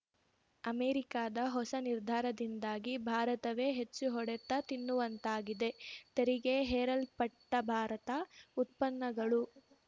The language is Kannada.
ಅಮೆರಿಕದ ಹೊಸ ನಿರ್ಧಾರದಿಂದಾಗಿ ಭಾರತವೇ ಹೆಚ್ಚು ಹೊಡೆತ ತಿನ್ನುವಂತಾಗಿದೆ ತೆರಿಗೆ ಹೇರಲ್ಪಟ್ಟಭಾರತ ಉತ್ಪನ್ನಗಳು